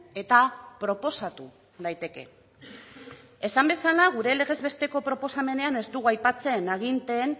eta proposatu daiteke esan bezala gure legez besteko proposamenean ez dugu aipatzen aginteen